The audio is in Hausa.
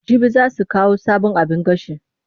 Jibi za su kawo sabon abin gashi.